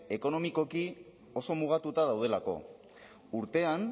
ekonomikoki oso mugatuta daudelako urtean